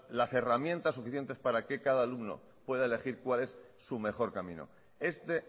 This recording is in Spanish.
las herramientas suficientes para que cada alumno pueda elegir cuál es su mejor camino este